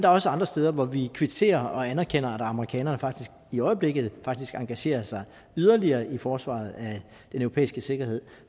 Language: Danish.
også andre steder hvor vi kvitterer og anerkender at amerikanerne faktisk i øjeblikket engagerer sig yderligere i forsvaret af den europæiske sikkerhed